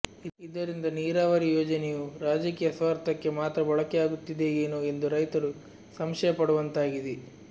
ಇದರಿಂದ ನೀರಾವರಿ ಯೋಜನೆಯು ರಾಜಕೀಯ ಸ್ವಾರ್ಥಕ್ಕೆ ಮಾತ್ರ ಬಳಕೆಯಾಗುತ್ತಿದೆಯೆನೊ ಎಂದು ರೈತರು ಸಂಶಯ ಪಡುವಂತಾಗಿದೆ